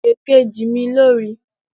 Èkejì mi lo rí